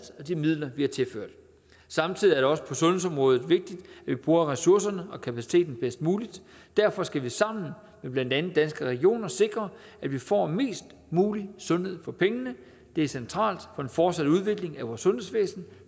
og de midler vi har tilført samtidig også på sundhedsområdet vigtigt at vi bruger ressourcerne og kapaciteten bedst muligt derfor skal vi sammen med blandt andet danske regioner sikre at vi får mest muligt sundhed for pengene det er centralt for en fortsat udvikling af vores sundhedsvæsen